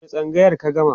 daga wani tsangayar ka gama?